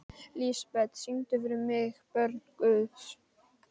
Lísebet, syngdu fyrir mig „Börn Guðs“.